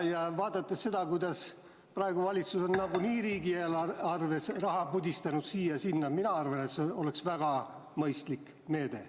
Ja vaadates seda, kuidas praegu valitsus on nagunii riigieelarves raha pudistanud siia-sinna, arvan ma, et see oleks väga mõistlik meede.